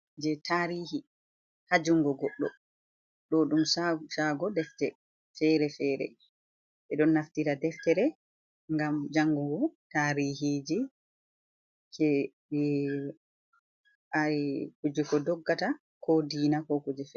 Je tarihi ha jungo goɗɗo ɗo ɗum chago deftere fere-fere, ɓe ɗon naftira deftere ngam jangugo tarihiji je kuje kodoggata ko diina ko kuje fere.